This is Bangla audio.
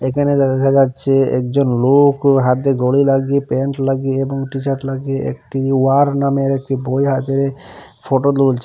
একানে দেখা যাচ্ছে একজন লোক হাতে ঘড়ি লাগিয়ে প্যান্ট লাগিয়ে এবং টিশার্ট লাগিয়ে একটি ওয়ার নামের একটি বই হাতে ফটো তুলছেন।